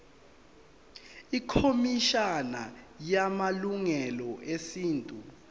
ikhomishana yamalungelo esintu